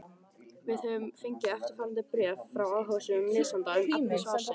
Við höfum fengið eftirfarandi bréf frá áhugasömum lesanda um efni svarsins: